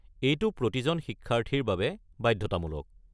এইটো প্ৰতিজন শিক্ষাৰ্থীৰ বাবে বাধ্যতামূলক।